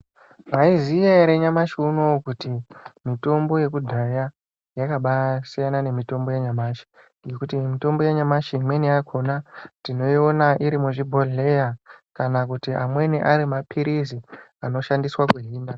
Maiziya ere nyamashi unowu kuti mutombo yekudhaya yakasiyana nemitombo yanyamashi ngekuti mitombo yanyamashi imweni yakona tinoona iri muzvibhodhleya kana kuti amweni arimaphirizi anoshandiswa kuhina.